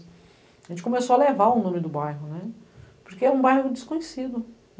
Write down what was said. A gente começou a levar o nome do bairro, porque era um bairro desconhecido.